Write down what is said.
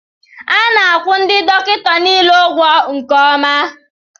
A na-akwụ ndị dọkịta niile ụgwọ nke ọma